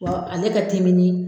Wa ale ka timi ni